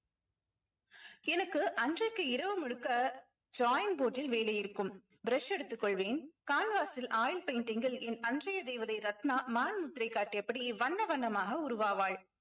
எனக்கு அன்றைக்கு இரவு முழுக்க drawing board ல் வேலை இருக்கும் brush எடுத்துக் கொள்வேன் canvas ல் oil painting ல் என் அன்றைய தேவதை ரத்னா மான் முத்திரை காட்டியபடி வண்ண வண்ணமாக உருவாவாள்